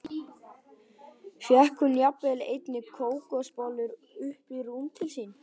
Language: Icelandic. Fékk hún jafnvel einnig kókosbollur upp í rúm til sín.